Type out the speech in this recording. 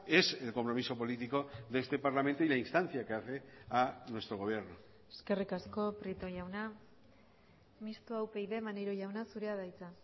es el compromiso político de este parlamento y la instancia que hace a nuestro gobierno eskerrik asko prieto jauna mistoa upyd maneiro jauna zurea da hitza